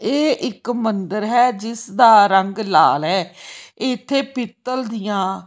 ਇਹ ਇੱਕ ਮੰਦਿਰ ਹੈ ਜਿਸ ਦਾ ਰੰਗ ਲਾਲ ਐ ਇੱਥੇ ਪੀਤਲ ਦੀਆਂ--